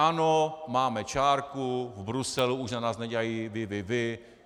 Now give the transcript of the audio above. Ano, máme čárku, v Bruselu už na nás nedělají: Vy, vy, vy!